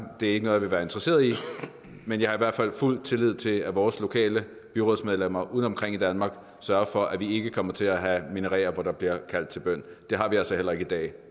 det er ikke noget jeg vil være interesseret i men jeg har i hvert fald fuld tillid til at vores lokale byrådsmedlemmer ude omkring i danmark sørger for at vi ikke kommer til at have minareter hvor der bliver kaldt til bøn det har vi altså heller ikke i dag